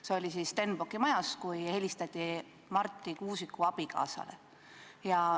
See toimus Stenbocki majas, helistati Marti Kuusiku abikaasale.